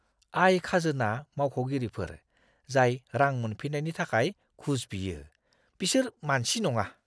आय-खाजोना मावख'गिरिफोर, जाय रां मोनफिन्नायनि थाखाय घुस बियो, बिसोर मानसि नङा!